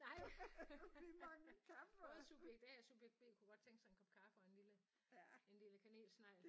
Nej både subjekt A og subjekt B kunne godt tænke sig en kop kaffe og en lille en lille kanelsnegl